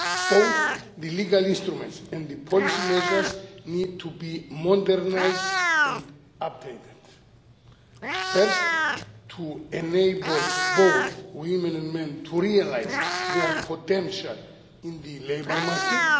Both the legal instruments and the policy measures need to be modernised and updated. First, to enable both women and men to realise their potential in the labour market.